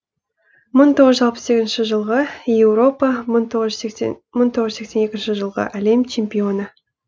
мың тоғыз жүз алпыс сегізінші жылғы еуропа мың тоғыз жүз сексен екінші жылғы әлем чемпионы